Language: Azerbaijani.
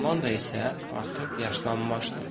Amanda isə artıq yaşlanmışdı.